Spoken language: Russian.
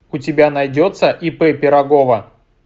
у тебя найдется ип пирогова